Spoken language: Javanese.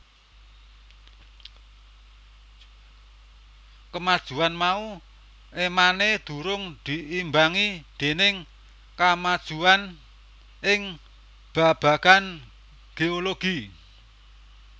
Kamajuan mau émané durung diimbangi déning kamajuwan ing babagan geologi